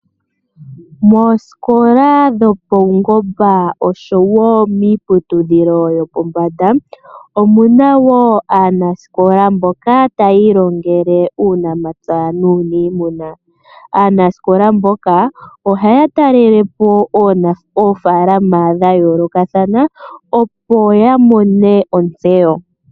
Moosikola dhopaungomba noshowo miiputudhilo yopombanda omu na wo aanasikola mboka taya ilongele uunamapya nuuniimuna. Aanasikola mboka ohaya talele po oofaalama dha yoolokathana, opo ya mone ontseyo.